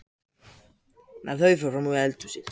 Þau fóru frammí eldhúsið.